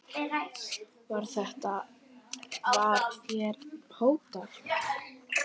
Var þér hótað?